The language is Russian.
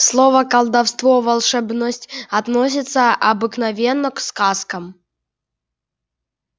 слова колдовство волшебность относятся обыкновенно к сказкам